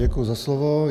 Děkuji za slovo.